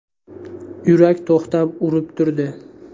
Yurak to‘xtab-urib turdi.